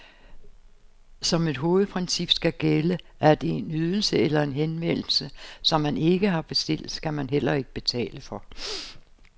Som et hovedprincip skal gælde, at en ydelse eller en henvendelse, som man ikke har bestilt, skal man heller ikke betale for.